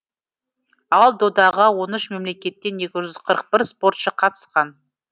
ал додаға он үш мемлекеттен екі жүз қырық бір спортшы қатысқан